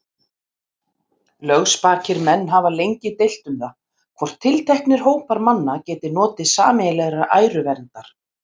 Lögspakir menn hafa lengi deilt um það, hvort tilteknir hópar manna geti notið sameiginlegrar æruverndar.